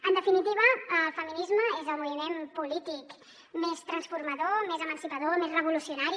en definitiva el feminisme és el moviment polític més transformador més emancipador més revolucionari